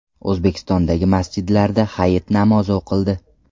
O‘zbekistondagi masjidlarda Hayit namozi o‘qildi.